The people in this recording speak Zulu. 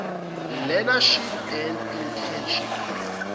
learneship and internship